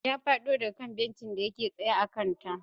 Ya fado daga kan bencinsa da yake tsaye a kanta.